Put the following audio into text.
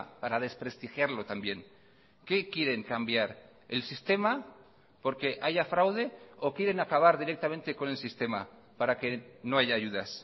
para desprestigiarlo también qué quieren cambiar el sistema porque haya fraude o quieren acabar directamente con el sistema para que no haya ayudas